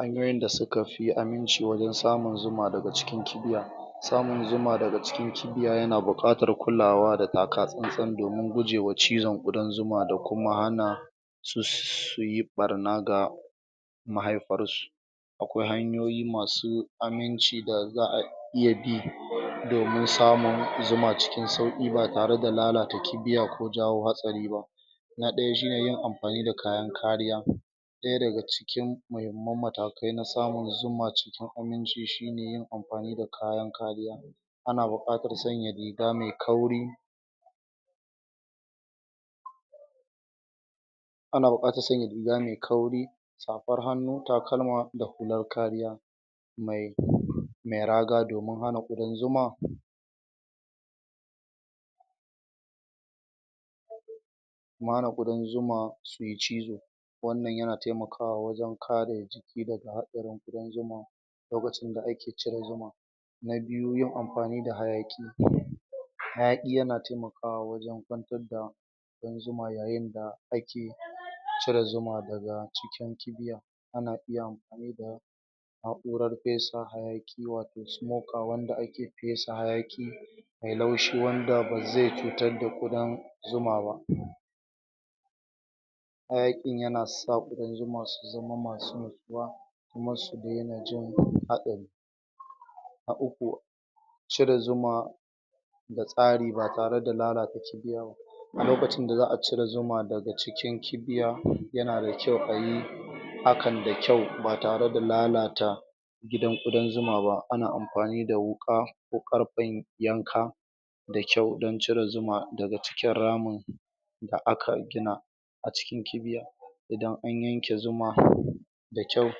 an maida sukafi anyi mishi wajen samun zuma daga cikin kibiya samun zuma daga cikin kibiya yana buƙatar kulawa da takatsan tsan domin gujewa cizon ƙudan zuma dakuma hana suyi ɓarna da mahaifar shi akwai hanyoyi masu aminci da zaa iya bi domin samun zuma cikin sauki ba tareda lalata kibiya ko jawo hatsari ba guda ɗaya shine yin amfani da kayan kariya ɗaya daga cikin muhimman matakai na samun zuma ciki ainihin su shine amfani da kayan kariya ana buƙ atar sanya riga mai kauri ana buƙ atar sanya riga mai kauri safar hannu, takalma da hular kariya mai kauri mai raga domin hana ƙudan zuma mara ƙ udan zuma ke cizo wannan ya taimakawa wajen ƙare cizon da haɗarin ƙudan zuma lokacin da ake shirin yin na biyu yin amfani da hayaƙi hayaƙi yana taimakawa wajen kwantar da zuma yayin da ake cire zuma daga cikin kibiya ana iya a ɗurar fesa hayaki wato smoker wanda ake fesa hayaki mai laushi wanda bazai cutar da ƙudan zuma ba hayakin yana sa ƙudan zuma su zama masu matukar yana kan hatsari na uku cire zuma da tsari ba tare da lalata kibiya a lokacin da za'a cire zuma daga cikin kibiya yana da kyau kayi hakan da kyau ba tareda lalata gidan ƙudan zuma ba ana amfani da wuka ko ƙarfen yanka da kyau don cire zuma daga cikin ramin su da aka gina a cikin kibiya idan anyishi zuma da kyau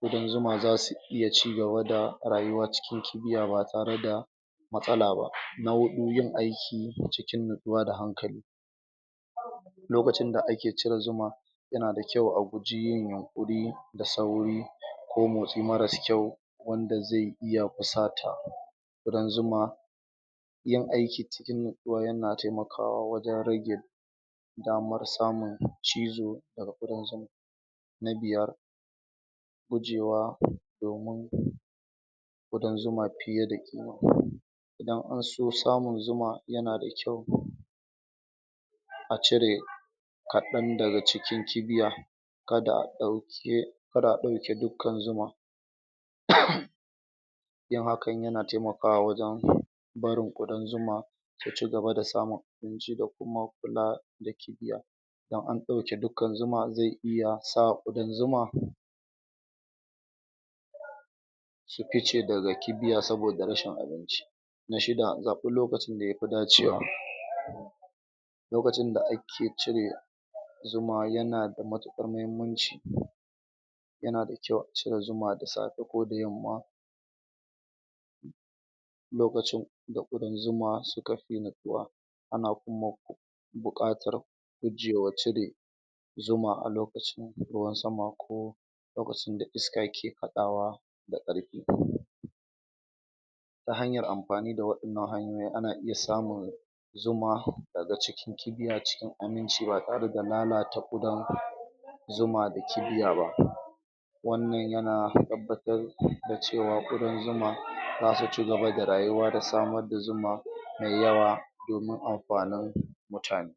ƙudan zuma zasu iya cigaba da rayuwa cikin kibiya ba tareda matsala ba na hudu yin aiki da cikin nutsuwa da hankali lokacin da ake cire zuma yana da kyau a guji yin yunkurin da sauri ko motsi mara kyau wanda zai iya ta ɓata ƙ udan zuma yin aiki cikin nutsuwa yana taimakawa wajen rage damar samun da cizo daga ƙ udan zuma na biyar gujewa domin ƙudan zuma fiye da? don inson samun zuma zai ma da? a cire kaɗan daga cikin kibiya kada a ɗau? kada a dauke dukkan zuma? kuma hakan yana taimakawa wajen ɗaurin ƙudan zuma da cigaba da samun ciki da kuma kula da kibiya idan an ɗauke dukan zuma zai iya sa ƙudan zuma su fice daga kibiya saboda rashin abinci kuma shi ba'a zaɓi lokacin dayafi dacewa ba lokacin da ake cire zuma yana da matuƙar muhimmanci yana da kyau acire zuma da safe ko da yamma lokacin da ƙudan zuma sukafi nutsuwa ana kuma buƙatar gujewa cire zuma a lokacin da ruwan sama ko lokacin da fuska ke haɗawa da karfe huɗu ta hanyar amfani waɗannan hanyoyin ana iya samun zuma ta tsaga ciki, cigiya cikin aminci ba tareda dalala ta ƙudan zuma da kibiya ba wannan yana tabbatar da cewa ƙudan zuma zasu cigaba da rayuwa da samar da zuma mai yawa domin amfanin ku mutane